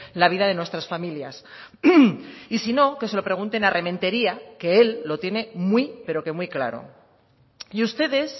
la vida de nuestras familias y si no que se lo pregunten a rementeria que él lo tiene muy pero que muy claro y ustedes